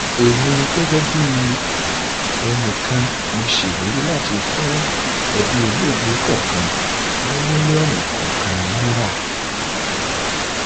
èmi um gẹgẹ bíi ẹnì kan mo ṣèlérí láti um fún ẹbí olóògbé kọọkan ní mílíọnù kọọkan náírà